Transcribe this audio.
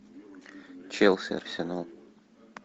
челси арсенал